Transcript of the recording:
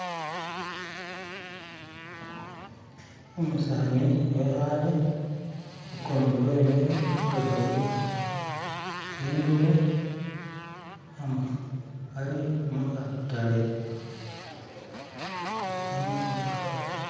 Umusaani wekhaale ukundi wemile weboyile ingubo, ali mukhatale.